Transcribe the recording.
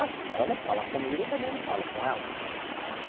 Assim, ela não fala comigo, eu também não falo com ela.